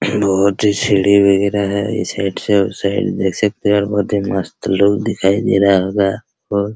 बहुत ही सीढ़ी वगेरा है इस साइड से उस साइड देख सकते हैं और बहुत ही मस्त लुक दिखाई दे रहा होगा को |